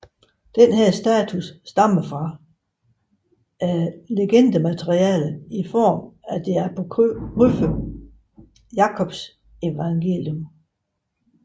Denne status stammer fra legendemateriale i form af den apokryfe Jakobs Forevangelium